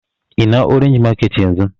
Ina orange market yanzun